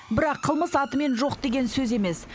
бірақ қылмыс атымен жоқ деген сөз емес